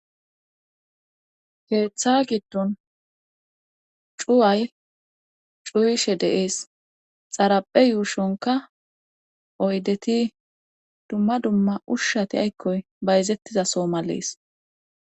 keeththa giddon cuway cuyishe deees xaraphe yuushonka oydeti dumma dumma ushshati aykkoy bayzettizaso malees.